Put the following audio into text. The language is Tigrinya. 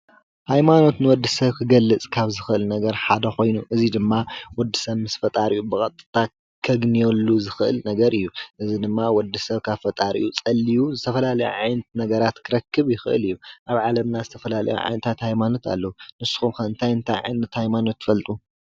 ሃይማኖት ንወድሰብ ክገልፅ ካብ ዝኽእል ነገር ሓደ ኮይኑ እዚ ድማ ወድሰብ ምስ ፈጣሪኡ ብቐጥታ ከግንየሉ ዝኽእል ነገር እዩ። እዚ ድማ ወዲ ሰብ ካብ ፈጣሪኡ ፀልዩ ዝተፈላለየ ዓይነት ነገራት ክረክብ ይኽእል እዩ። ኣብ ዓለምና ዝተፈላአዩ ዓይነታት ሃይማኖት ኣለዉ። ንስኹም ከ እንታይ እንታይ ዓይነት ሃይማኖት ትፈልጡ?